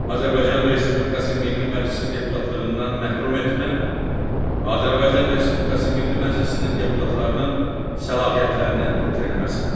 Azərbaycan Respublikası Milli Məclisi deputatlığından məhrum etmə və Azərbaycan Respublikası Milli Məclisinin deputatlarının səlahiyyətlərinin itirilməsi.